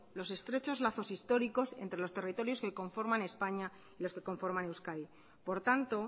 los estrechos lazos históricos entre los territorios que conforman españa y los que conforman euskadi por tanto